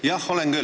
Jah, olen küll.